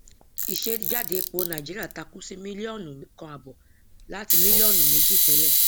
ìsejáde epo nàìjíríà takú sí mílíọnù kan àbọ láti mílíọnù méjì tẹlẹ